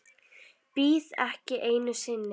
Bíð ekki einu sinni.